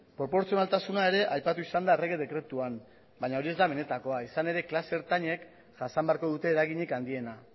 proportzionaltasuna ere aipatu izan da errege dekretuan baina hori ez da benetakoa izan ere klase ertainek jasan beharko dute eraginik handiena